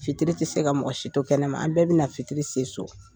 Fitiri tɛ se ka mɔgɔ si to kɛnɛma an bɛɛ bɛ na fitiri se so.